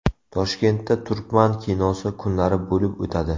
Toshkentda Turkman kinosi kunlari bo‘lib o‘tadi.